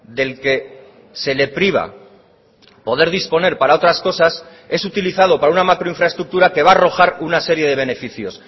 del que se le priva poder disponer para otras cosas es utilizado para una macro infraestructura que va a arrojar una serie de beneficios